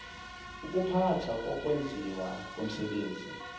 ukuphathwa kokwenziwa komsebenzi